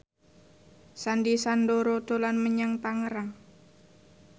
Sandy Sandoro dolan menyang Tangerang